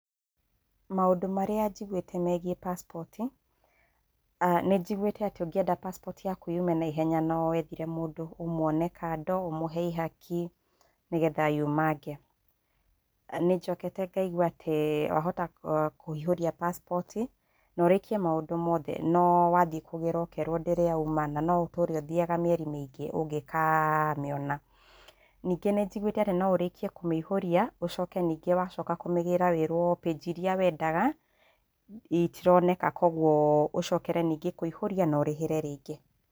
Maũndũ marĩa njiguĩte megiĩ passport, nĩ njiguĩte atĩ ũngĩenda passport yaku yume naihenya, no wethire mũndũ, ũmwone kando ũmũhe ihaki, nĩgetha yumange. Nĩ njokete ngaigua atĩ, wahota kũihũria passport, na ũrĩkie maũndu mothe no wathiĩ kũgĩra ũkeerwo ndĩrĩ yauma, na no ũtũre ũthiaga mĩeri mĩingĩ ũngĩkamĩona. Ningĩ nĩ njigũĩte atĩ no ũrĩkie kũmĩihũria ucoke ningĩ wacoka kumĩgĩra wĩrwo page iria wendaga, itironeka kũoguo ũcokere ningĩ kũihũria na ũrĩhĩre rĩngĩ.